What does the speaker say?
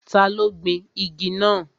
Ta ló gbin igi náà?